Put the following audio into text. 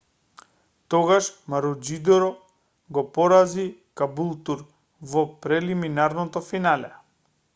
тогаш маручидор го порази кабултур во прелиминарното финале